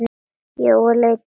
Jói leit upp.